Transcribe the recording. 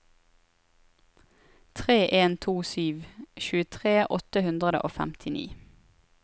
tre en to sju tjuetre åtte hundre og femtini